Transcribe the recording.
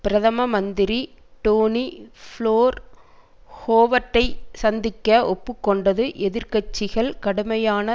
பிரதம மந்திரி Tony Blair ஹோவர்டைச் சந்திக்க ஒப்பு கொண்டு எதிர் கட்சிகள் கடுமையான